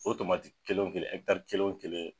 O kelen o kelen kelen o kelen